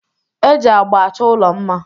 Eji agba achọ ụlọ mma.